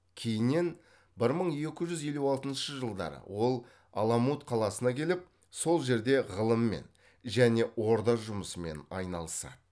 кейіннен бір мың екі жүз елу алтыншы жылдары ол аламут қаласына келіп сол жерде ғылыммен және орда жұмысымен айналысады